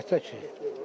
Əlbəttə ki.